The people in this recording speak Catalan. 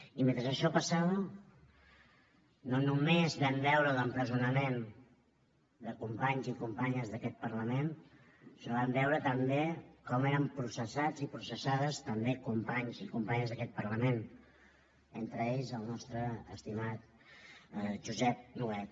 i mentre això passava no només vam veure l’empresonament de companys i companyes d’aquest parlament sinó que vam veure també com eren processats i processades també companys i companyes d’aquest parlament entre ells el nostre estimat josep nuet